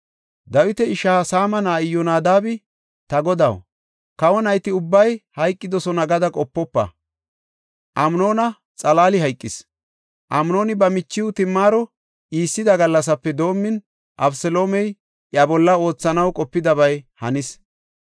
Dawita ishaa Saama na7ay Iyyonadaabi, “Ta godaw, kawo nayti ubbay hayqidosona gada qopofa; Amnoona xalaali hayqis. Amnooni ba michiw Timaaro iissida gallasape doomin, Abeseloomey iya bolla oothanaw qopidabay hanis.